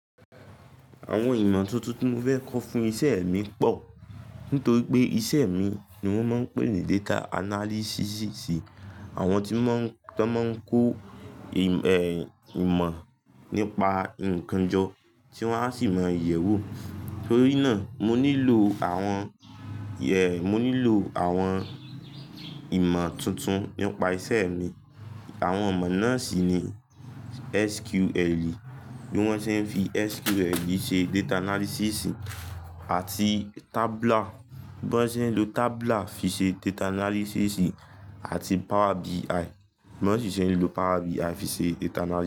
Àwọn ìmọ̀ tuntun tí mo fẹ́ kọ́ fún iṣẹ́ mi pọ̀. Nítorí pé iṣẹ́ mi ni wọ́n máa ń pè ní data analysis. Àwọn tí mọ́n to n máa ń kó ìmọ̀ nípa nnkan jọ, tí wọ́n á sì mọ yẹ̀wù. Torí náà mo nílò àwọnmo nilo awon ìmọ̀ tuntun nípa iṣẹ́ mi. Àwọn ìmọ̀ náà sì ni SQL, bí wọ́n ṣe ń fi SQL ṣe data analysis àti Tabler, bí wọ́n ṣe ń lo Tablar fi ṣe data analysis àti Power BI, bí wọ́n sì ṣe ń lo Power BI fi ṣe data analysis.